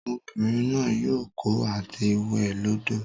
Obinrin naa yoo ko ati we lodo.